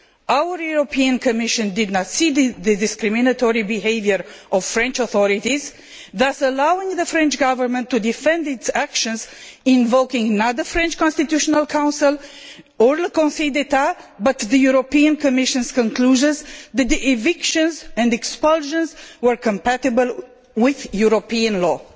Our European Commission did not see the discriminatory behaviour of the French authorities, thus allowing the French Government to defend its actions invoking not the French Constitutional Council, nor the Conseil d'Etat but the European Commission's conclusions that the evictions and expulsions were compatible with European law.